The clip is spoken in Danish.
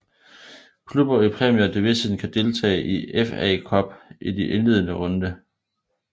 Klubber i Premier Division kan deltage i FA Cup i de indledende runde